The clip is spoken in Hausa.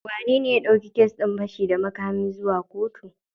Wanene ya ɗauki kes din fashi da makamin zuwa kotu?